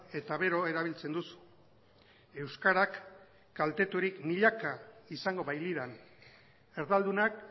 eta beroa erabiltzen duzu euskarak kalteturik milaka izango bailiran erdaldunak